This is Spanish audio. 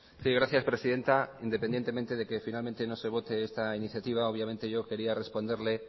sí gracias presidenta independientemente de que finalmente nos se vote este iniciativa obviamente yo quería responderle